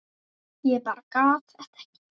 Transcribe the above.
Ég bara gat þetta ekki.